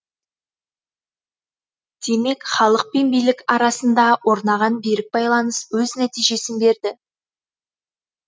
демек халық пен билік арасында орнаған берік байланыс өз нәтижесін берді